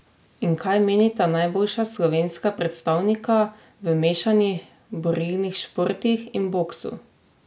In kaj menita najboljša slovenska predstavnika v mešanih borilnih športih in boksu?